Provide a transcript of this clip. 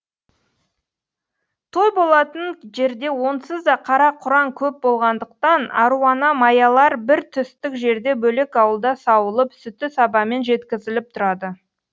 той болатын жерде онсыз да қара құраң көп болғандықтан аруана маялар бір түстік жерде бөлек ауылда сауылып сүті сабамен жеткізіліп тұрады